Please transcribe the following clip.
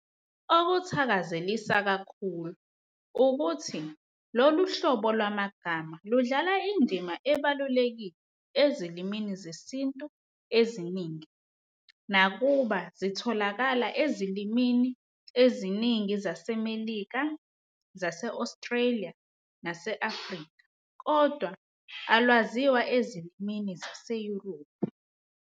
Okuthakazelisa kakhulu wukuthi lolu hlobo lwamagama ludlala indima ebalulekile ezilimini zesiNtu eziningi. Nakuba zitholakala ezilimini eziningi zaseMelika, zase-Australia nase-Afrika kodwa alwaziwa ezilimini zaseYurophu.